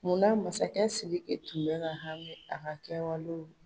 Munna masakɛ sidiki tun bɛ ka hami a ka kɛwalew la